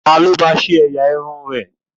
Ta ló ba ṣe ẹ̀yà irun?